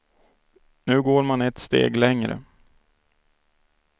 Nu går man ett steg längre.